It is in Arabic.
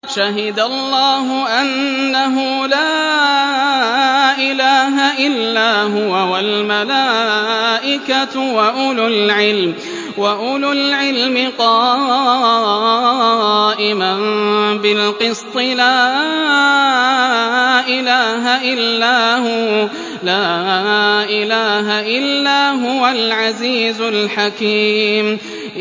شَهِدَ اللَّهُ أَنَّهُ لَا إِلَٰهَ إِلَّا هُوَ وَالْمَلَائِكَةُ وَأُولُو الْعِلْمِ قَائِمًا بِالْقِسْطِ ۚ لَا إِلَٰهَ إِلَّا هُوَ الْعَزِيزُ الْحَكِيمُ